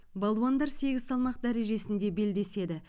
балуандар сегіз салмақ дәрежесінде белдеседі